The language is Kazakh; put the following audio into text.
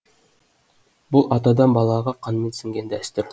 бұл атадан балаға қанмен сіңген дәстүр